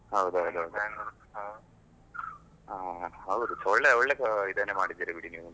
ಹೌದೌದು ಹೌದ್, ಹೌದು ಒಳ್ಳೆ ಒಳ್ಳೆ ಇದನ್ನೇ ಮಾಡಿದ್ದೀರಿ ಬಿಡಿ ನೀವು.